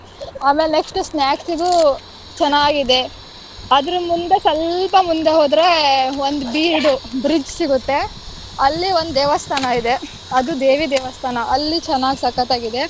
ಆಮೇಲ್ next snacks ಗೂ ಚೆನ್ನಾಗಿದೆ. ಅದ್ರ ಮುಂದೆ ಸ್ವಲ್ಪ ಮುಂದೆ ಹೋದ್ರೆ ಒಂದ್ ಬೀಡು. bridge ಸಿಗುತ್ತೆ. ಅಲ್ಲಿ ಒಂದ್ ದೇವಸ್ಥಾನ ಇದೆ ಅದು ದೇವಿ ದೇವಸ್ಥಾನ. ಅಲ್ಲಿ ಚೆನ್ನಾಗ್ ಸಕ್ಕತ್ತಾಗಿದೆ.